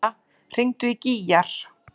Dúnna, hringdu í Gígjar.